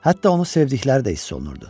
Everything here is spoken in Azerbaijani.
Hətta onu sevdikləri də hiss olunurdu.